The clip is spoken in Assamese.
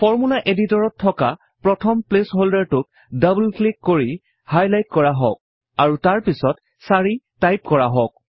ফৰ্মূলা এডিটৰত থকা প্ৰথম প্লেচ্ হল্ডাৰটোক ডাবুল ক্লিক কৰি হাইলাইট কৰা হওঁক আৰু তাৰ পিছত 4 টাইপ কৰা হওঁক